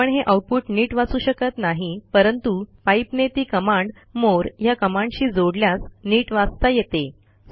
आपण हे आऊटपुट नीट वाचू शकत नाही परंतु पाइप ने ती कमांड मोरे या कमांडशी जोडल्यास नीट वाचता येते